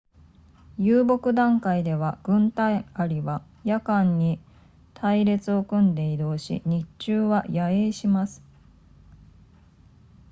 遊牧段階では軍隊アリは夜間に隊列を組んで移動し日中は野営します